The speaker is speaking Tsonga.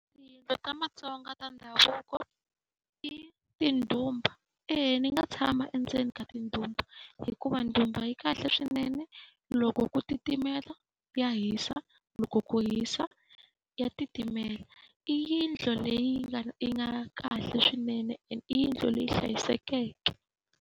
Ta Vatsonga ta ndhavuko i tindhumba. Eya ni nga tshama endzeni ka tindhumba hikuva ndzumba yi kahle swinene. Loko ku titimela, ya hisa. Loko ku hisa ya titimela. I yindlu leyi yi nga kahle swinene ende i yindlu leyi hlayisekeke.